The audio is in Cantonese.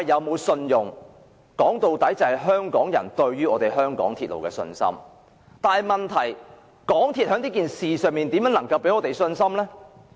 問題在於香港人對於香港鐵路的信心，但香港鐵路有限公司在這事件上如何能夠給予我們信心？